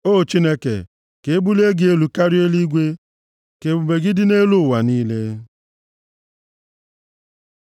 O Chineke, ka e bulie gị elu karịa eluigwe; ka ebube gị dị nʼelu ụwa niile.